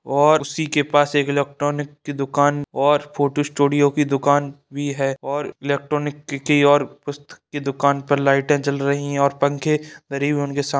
और उसी के पास एक इलेक्ट्रॉनिक की दुकान और फोटो स्टूडियो की दुकान भी है और इलेक्ट्रॉनिक की और पुस्तक की दुकान पर लाइटे जल रही है और पंखे करीब उनके सा --